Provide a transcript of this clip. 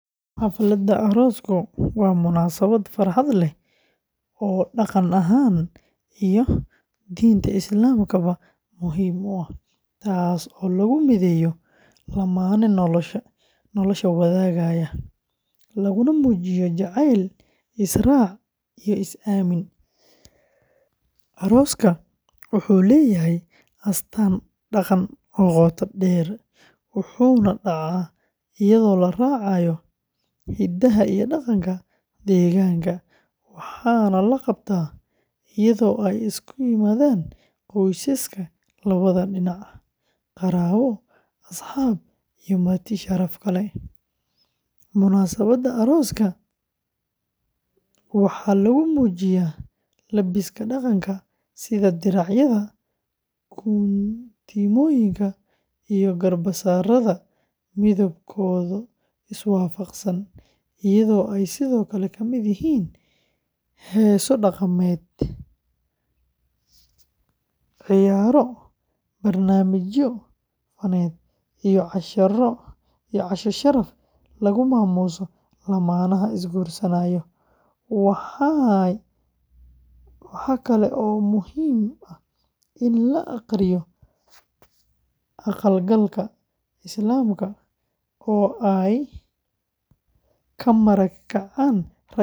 Xafladda aroosku waa munaasabad farxad leh oo dhaqan ahaan iyo diinta Islaamka ba muhiim u ah, taas oo lagu mideeyo lamaane nolosha wadaagaya, laguna muujiyo jacayl, is-raac iyo is-aamin. Arooska Soomaaliyeed wuxuu leeyahay astaan dhaqan oo qoto dheer, wuxuuna dhacaa iyadoo la raacayo hidaha iyo dhaqanka deegaanka, waxaana la qabtaa iyadoo ay isugu yimaadaan qoysaska labada dhinac, qaraabo, asxaab iyo marti sharaf kale. Munaasabadda arooska waxaa lagu muujiyaa labiska dhaqanka, sida diracyada, guntimooyinka, iyo garbasaarada midabkooda iswaafaqsan, iyadoo ay sidoo kale ka mid yihiin heeso dhaqameed, ciyaaro, barnaamijyo faneed iyo casho sharaf lagu maamuuso lamaanaha is-guursanaya. Waxa kale oo muhiim ah in la aqriyo aqal-galka Islaamka oo ay ka marag kacaan rag iyo dumar.